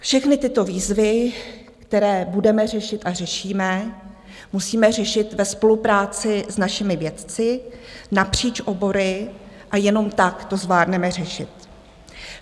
Všechny tyto výzvy, které budeme řešit a řešíme, musíme řešit ve spolupráci s našimi vědci napříč obory a jenom tak to zvládneme řešit.